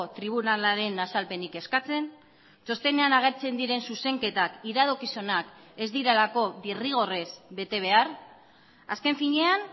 tribunalaren azalpenik eskatzen txostenean agertzen diren zuzenketak iradokizunak ez direlako derrigorrez bete behar azken finean